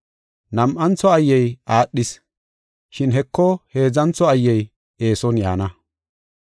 Nam7antho ayyey aadhis, shin Heko heedzantho ayyey eeson yaana.